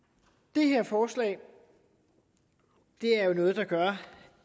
det her forslag er jo noget der gør